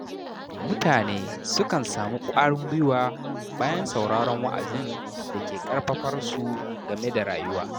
Mutane sukan samu ƙwarin gwiwa bayan sauraron wa'azin da ke ƙarfafar su game da rayuwa.